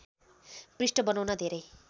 पृष्ठ बनाउन धेरै